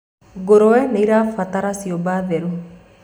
ngurwe nĩirabatara ciũmba theru